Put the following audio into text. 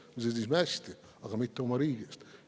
Me sõdisime hästi, aga mitte oma riigi eest.